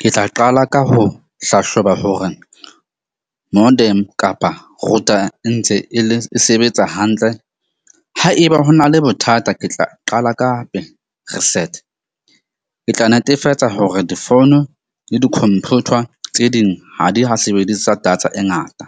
Ke tla qala ka ho hlahloba hore modem kapa router e ntse e le e sebetsa hantle. Haeba ho na le bothata, ke tla qala ka hape reset. Ke tla netefatsa hore difounu le di-computer tse ding ha di ha sebedisa data e ngata.